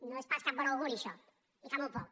no és pas cap bon auguri això i fa molt poc